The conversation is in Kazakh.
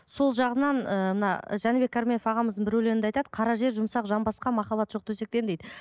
сол жағынан ыыы мына жәнібек арменов ағамыздың бір өлеңінде айтады қара жер жұмсақ жанбасқа махаббат жоқ төсектен дейді